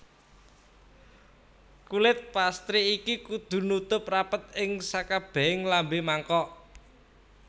Kulit pastry iki kudu nutup rapet ing sakabehing lambe mangkok